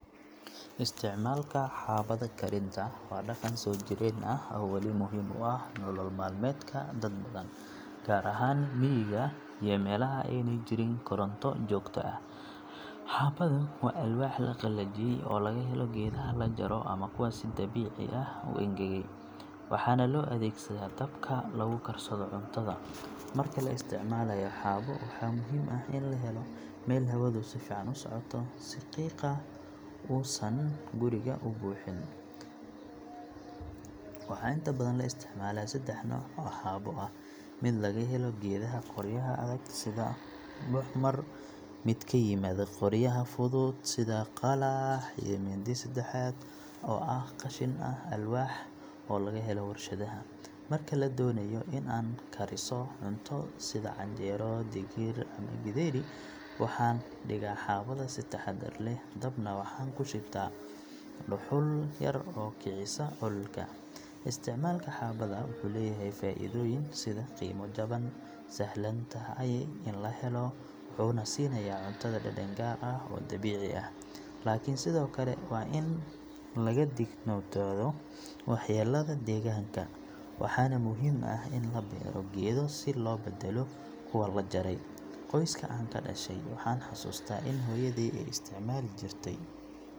Isticmaalka xaabada karinta waa dhaqan soo jireen ah oo weli muhiim u ah nolol maalmeedka dad badan, gaar ahaan miyiga iyo meelaha aanay jirin koronto joogto ah. Xaabadu waa alwaax la qalajiyey oo laga helo geedaha la jaro ama kuwa si dabiici ah u engegay, waxaana loo adeegsadaa dabka lagu karsado cuntada. Marka la isticmaalayo xaabo, waxaa muhiim ah in la helo meel hawadu si fiican u socoto si qiiqa uusan guriga u buuxin. Waxaan inta badan isticmaalaa saddex nooc oo xaabo ah; mid laga helo geedaha qoryaha adag sida muxmar, mid ka yimaada qoryaha fudud sida qalax, iyo mid saddexaad oo ah qashin alwaax ah oo laga helo warshadaha. Marka aan doonayo in aan kariso cunto sida canjeero, digir, ama githeri, waxaan dhigaa xaabada si taxaddar leh, dabna waxaan ku shitaa dhuxul yar oo kicisa ololka. Isticmaalka xaabada wuxuu leeyahay faa’iidooyin sida qiimo jaban, sahlan tahay in la helo, wuxuuna siinayaa cuntada dhadhan gaar ah oo dabiici ah. Laakiin sidoo kale waa in laga digtoonaado waxyeelada deegaanka, waxaana muhiim ah in la beero geedo si loo beddelo kuwa la jaray. Qoyska aan ka dhashay, waxaan xasuustaa in hooyaday ay isticmaali jirtay .